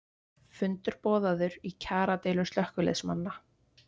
Fundur boðaður í kjaradeilu slökkviliðsmanna